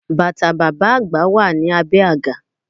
Bàtà bàbá àgbà wà ní abé àga